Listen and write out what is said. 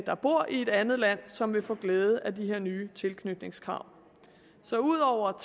der bor i et andet land som vil få glæde af de her nye tilknytningskrav så ud over